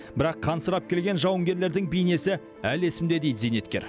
бірақ қансырап келген жауынгерлердің бейнесі әлі есімде дейді зейнеткер